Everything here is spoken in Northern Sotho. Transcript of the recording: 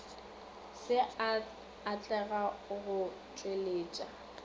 se a atlega go tšweletša